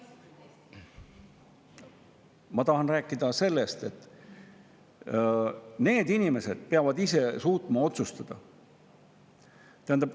Ma tahan rääkida sellest, et need inimesed peavad suutma ise otsustada.